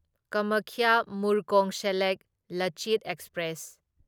Kamakhya Murkongselek Lachit express